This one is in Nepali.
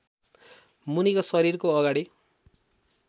मुनिको शरीरको अगाडि